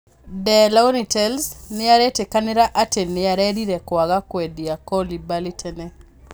De Laurentiis nĩarĩtĩkanĩria atĩ nĩarerira kwaga kwendia Koulibaly tene